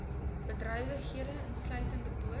bedrywighede insluitende boot